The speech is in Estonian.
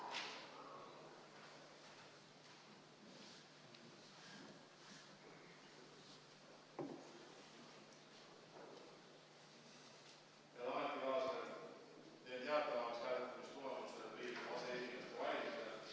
Teen teatavaks hääletamistulemused Riigikogu aseesimeeste valimisel.